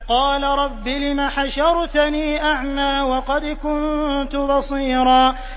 قَالَ رَبِّ لِمَ حَشَرْتَنِي أَعْمَىٰ وَقَدْ كُنتُ بَصِيرًا